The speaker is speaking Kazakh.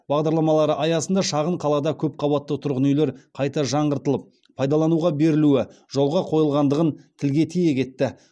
бағдарламалары аясында шағын қалада көпқабатты тұрғын үйлер қайта жаңғыртылып пайдалануға берілуі жолға қойылғандығын тілге тиек етті